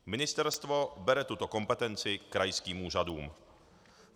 Ministerstvo bere tuto kompetenci krajským úřadům.